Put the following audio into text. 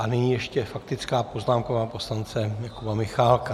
A nyní ještě faktická poznámka poslance Jakuba Michálka.